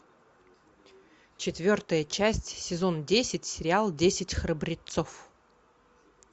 четвертая часть сезон десять сериал десять храбрецов